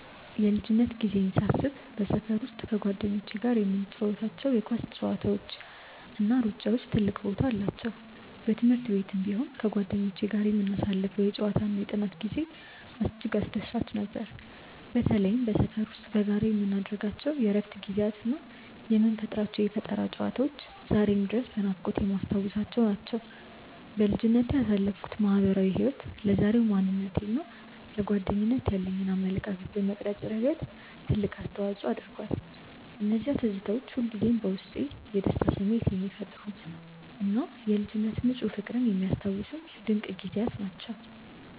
የልጅነት ጊዜዬን ሳስብ በሰፈር ውስጥ ከጓደኞቼ ጋር የምንጫወታቸው የኳስ ጨዋታዎችና ሩጫዎች ትልቅ ቦታ አላቸው። በትምህርት ቤትም ቢሆን ከጓደኞቼ ጋር የምናሳልፈው የጨዋታና የጥናት ጊዜ እጅግ አስደሳች ነበር። በተለይም በሰፈር ውስጥ በጋራ የምናደርጋቸው የእረፍት ጊዜያትና የምንፈጥራቸው የፈጠራ ጨዋታዎች ዛሬም ድረስ በናፍቆት የማስታውሳቸው ናቸው። በልጅነቴ ያሳለፍኩት ማህበራዊ ህይወት ለዛሬው ማንነቴና ለጓደኝነት ያለኝን አመለካከት በመቅረጽ ረገድ ትልቅ አስተዋጽኦ አድርጓል። እነዚያ ትዝታዎች ሁልጊዜም በውስጤ የደስታ ስሜት የሚፈጥሩና የልጅነት ንፁህ ፍቅርን የሚያስታውሱኝ ድንቅ ጊዜያት ናቸው።